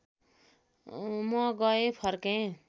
म गएँ फर्के